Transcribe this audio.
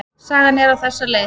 Sagan er á þessa leið: